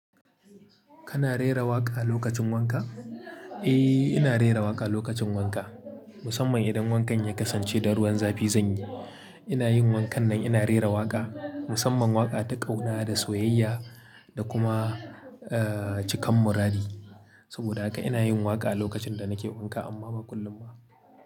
Kana rera waƙa lokacin wanka? Eh, ina rera waƙa lokacin wanka. Musamman idan wankan ya kasance da ruwan zafi zan yi. Ina yin wankan nan ina rera waƙa. Musamman waƙa ta ƙauna da soyayya da kuma, eh, cikan muradi. Saboda haka ina yin waƙa lokacin da nake wanka amma ba kullum ba.